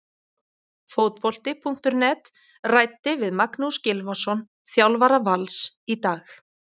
Fótbolti.net ræddi við Magnús Gylfason, þjálfara Vals, í dag.